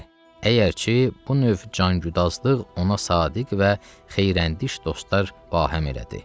Əgərçi bu növ canqüdağlıq ona sadiq və xeyrəndiç dostlar bahəm elədi.